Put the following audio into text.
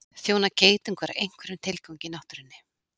þjóna geitungar einhverjum tilgangi í náttúrunni